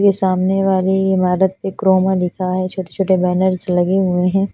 इस सामने वाली ईमारत पे क्रोमा लिखा है छोटे छोटे बेंनेर्स लगे हुए है।